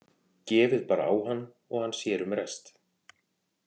Gefið bara á hann og hann sér um rest.